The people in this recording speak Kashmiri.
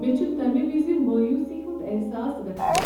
مےٚ چھ تمہ وز مایوسی ہُنٛد احساس گژھان